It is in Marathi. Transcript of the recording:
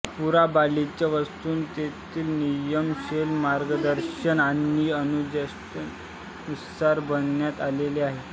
पुरा बालीच्या वास्तुकलेतील नियम शैली मार्गदर्शन आणि अनुष्ठानानुसार बनवण्यात आलेले आहे